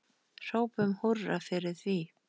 Hrópum húrra fyrir því.